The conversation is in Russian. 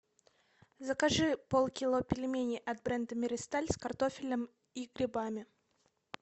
закажи полкило пельменей от бренда миристаль с картофелем и грибами